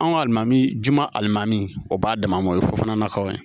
Anw ka alimami juma alimami o b'a dama ma o ye fo kɔnɔnaw ye